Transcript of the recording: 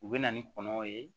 U bɛ na ni kɔnɔ ye